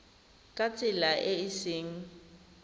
ka tsela e e seng